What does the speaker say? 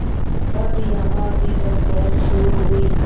तब यहाँ भी पंचायत शुरू हुई